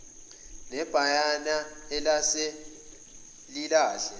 nebhayana elase lilahle